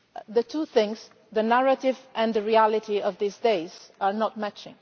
The two things, the narrative and the reality of these days, do not match.